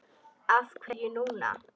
Af hverju núna?